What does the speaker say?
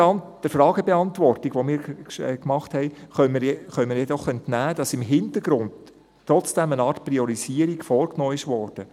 Der Fragebeantwortung, die wir gemacht haben, können wir jedoch entnehmen, dass im Hintergrund trotzdem eine Art Priorisierung vorgenommen wurde.